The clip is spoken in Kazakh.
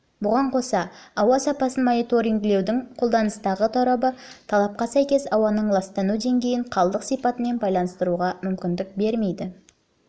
бұған қоса ауа сапасын мониторингтеудің қолданыстағы торабы талапқа сәйкес ауаның ластану деңгейін қалдық сипатымен байланыстыруға мүмкіндік бермейді